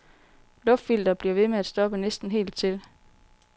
Luftfilteret bliver ved med at stoppe næsten helt til.